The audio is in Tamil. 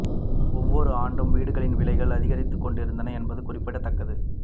ஒவ்வொரு ஆண்டும் வீடுகளின் விலைகள் அதிகரித்துக் கொண்டே இருந்தன என்பது குறிப்பிடத்தக்கது